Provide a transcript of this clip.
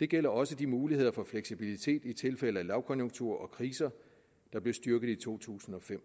det gælder også de muligheder for fleksibilitet i tilfælde af lavkonjunktur og kriser der blev styrket i to tusind og fem